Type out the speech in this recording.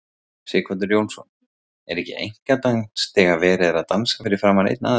Sighvatur Jónsson: Er ekki einkadans þegar verið er að dansa fyrir framan einn aðila?